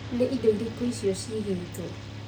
Nĩ indo irĩkũicio ciigĩtwo?